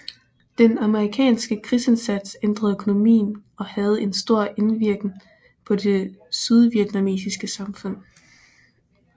Den amerikanske krigsindsats ændrede økonomien og havde en stor indvirken på det sydvietnamesiske samfund